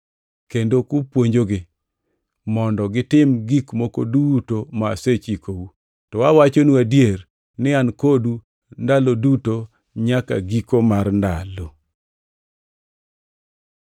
kendo kupuonjogi mondo gitim gik moko duto ma asechikou. To awachonu adier ni an kodu ndalo duto, nyaka giko mar ndalo.”